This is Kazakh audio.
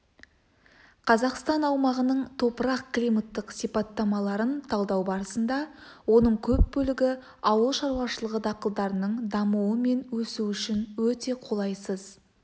қазақстан аумағының топырақ-климаттық сипаттамаларын талдау барысында оның көп бөлігі ауыл шаруашылығы дақылдарының дамуы мен өсуі үшін өте қолайсыз